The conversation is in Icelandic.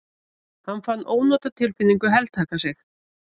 Hann fann ónotatilfinningu heltaka sig.